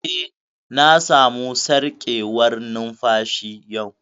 Eh, na samu sarƙewar numfashi yau